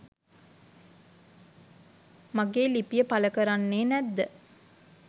මගේ ලිපිය පළ කරන්නේ නැද්ද?